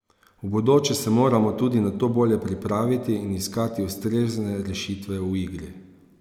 V bodoče se moramo tudi na to bolje pripraviti in iskati ustrezne rešitve v igri.